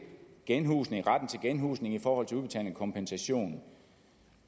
genhusning genhusning i forhold til udbetaling af kompensation